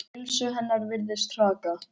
Heilsu hennar virðist hraka.